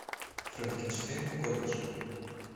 франкенштейн в колледже